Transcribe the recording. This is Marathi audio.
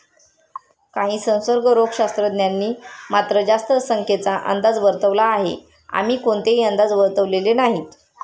काही संसर्गरोगशास्त्रज्ञांनी मात्र, जास्त संख्येचा अंदाज वर्तवला आहे, आम्ही कोणतेही अंदाज वर्तवलेले नाहीत.